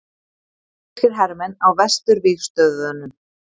Kanadískir hermenn á vesturvígstöðvunum.